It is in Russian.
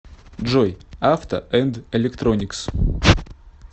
джой авто энд электроникс